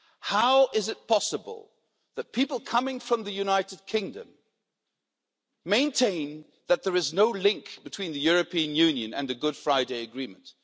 How is it possible that people coming from the United Kingdom maintain that there is no link between the European Union and the Good Friday Agreement?